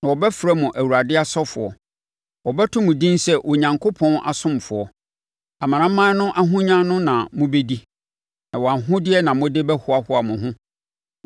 Na wɔbɛfrɛ mo Awurade asɔfoɔ, wɔbɛto mo din sɛ yɛn Onyankopɔn asomfoɔ. Amanaman no ahonya no na mobɛdi na wɔn ahodeɛ na mode bɛhoahoa mo ho.